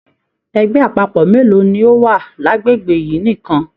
Ẹgbẹ àpapọ mélòó ní ọ wá l'agbegbe yìí nìkan?